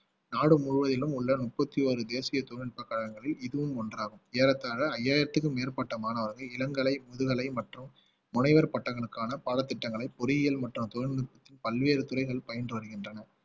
நாடு முழுவதிலும் உள்ள முப்பத்தி ஒரு தேசிய தொழில்நுட்ப கழகங்களில் இதுவும் ஒன்றாகும் ஏறத்தாழ ஐயாயிரத்துக்கும் மேற்பட்ட மாணவர்கள் இளங்கலை முதுகலை மற்றும் முனைவர் பட்டங்களுக்கான பாடத்திட்டங்களை பொறியியல் மற்றும் தொழில்நுட்பத்தின் பல்வேறு துறைகள் பயின்று வருகின்றன